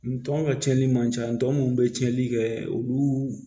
N tɔ ka tiɲɛni man ca n tɔ minnu bɛ cɛnli kɛ olu